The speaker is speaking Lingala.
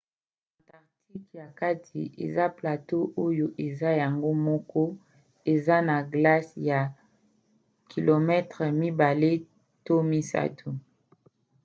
antarctique ya kati eza plateau oyo eza yango moko eza na glace ya 2-3 km